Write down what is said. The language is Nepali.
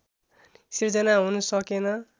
सिर्जना हुन सकेन